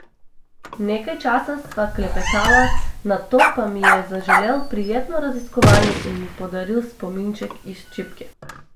Nekaj časa sva klepetala, nato pa mi je zaželel prijetno raziskovanje in mi podaril spominček iz čipke.